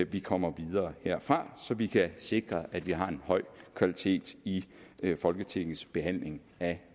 vi kommer videre herfra så vi kan sikre at vi har en høj kvalitet i folketingets behandling af